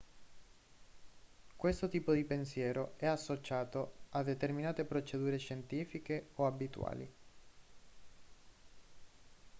questo tipo di pensiero è associato a determinate procedure scientifiche o abituali